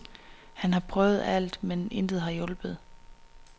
Han har prøvet alt, men intet har hjulpet.